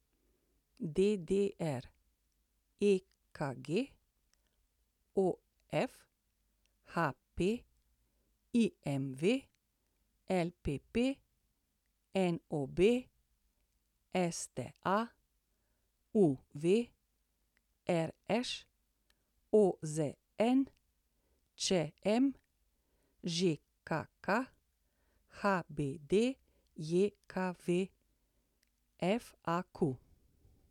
ABC, DDR, EKG, OF, HP, IMV, LPP, NOB, STA, UV, RŠ, OZN, ČM, ŽKK, HBDJKV, FAQ.